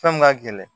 Fɛn min ka gɛlɛn